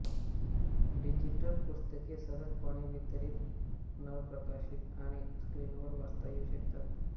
digital पुस्तके सहजपणे वितरित पुनर्प्रकाशित आणि स्क्रीनवर वाचता येऊ शकतात